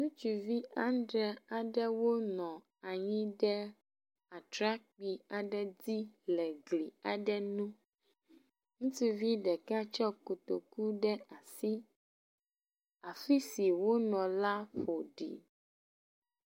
Ŋutsuvi adre aɖewo nɔ anyi ɖe atrakpui aɖe dzi le gli aɖe ŋu. Ŋutsuvi ɖeka tsɔ kotoku ɖe asi. Afi si wonɔ la ƒoɖi.